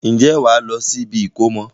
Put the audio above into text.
Ǹjẹ́ wàá lọ sí ibi ìkómọ?